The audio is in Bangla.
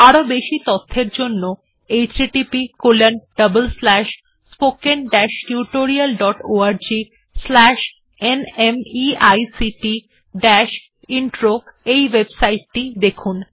আরও বেশি তথ্যের জন্য httpspoken tutorialorgNMEICT Intro ওএবসাইট টি দেখুন